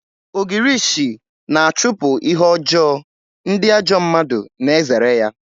Ogirishi na-achụpụ ihe ọjọọ, ndị ajọ mmadụ na-ezere ya